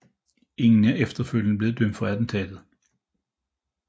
Ingen er efterfølgende blev dømt for attentatet